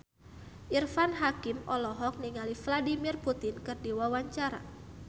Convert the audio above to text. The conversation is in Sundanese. Irfan Hakim olohok ningali Vladimir Putin keur diwawancara